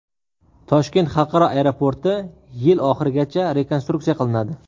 Toshkent xalqaro aeroporti yil oxirigacha rekonstruksiya qilinadi.